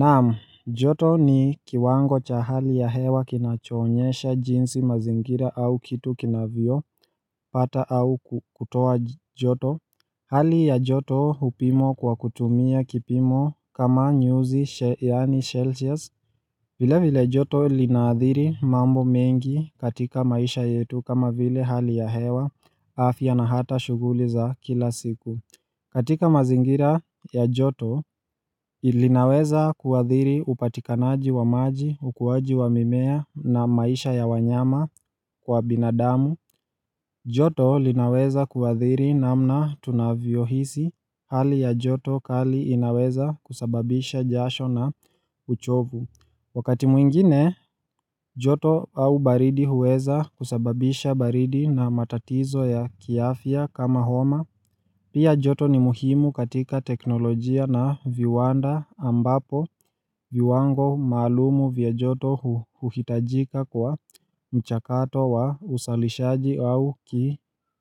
Naam, joto ni kiwango cha hali ya hewa kinachoonyesha jinsi mazingira au kitu kinavyopata au kutoa joto Hali ya joto hupimwa kwa kutumia kipimo kama nyuzi yaani Celsius vile vile joto linaadhiri mambo mengi katika maisha yetu kama vile hali ya hewa afya na hata shughuli za kila siku katika mazingira ya joto, linaweza kuathiri upatikanaji wa maji, ukuwaji wa mimea na maisha ya wanyama kwa binadamu. Joto linaweza kuathiri namna tunavyohisi hali ya joto kali inaweza kusababisha jasho na uchovu. Wakati mwingine, joto au baridi huweza kusababisha baridi na matatizo ya kiafya kama homa. Pia joto ni muhimu katika teknolojia na viwanda ambapo viwango maalumu vya joto huhitajika kwa mchakato wa usalishaji au